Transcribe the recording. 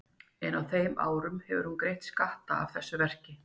En á þeim árum hefur hún greitt skatta af þessu verki.